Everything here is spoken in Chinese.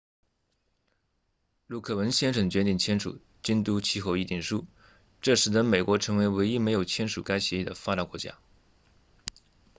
陆克文先生决定签署京都气候议定书这使得美国成为唯一没有签署该协议的发达国家